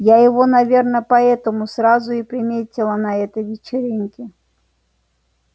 я его наверное поэтому сразу и приметила на этой вечеринке